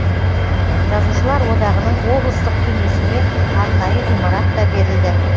жазушылар одағының облыстық кеңесіне арнайы ғимарат та берілді